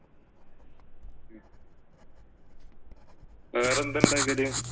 വേറെ എന്തുണ്ടാക്കല്?